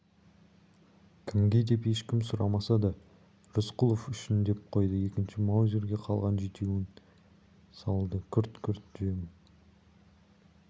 кімге деп ешкім сұрамаса да рысқұлов үшін деп қойды екінші маузерге қалған жетеуін салды күрт-күрт жем